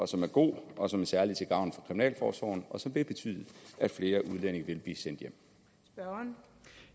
som er god og som særlig er til gavn for kriminalforsorgen og som vil betyde at flere udlændinge vil blive sendt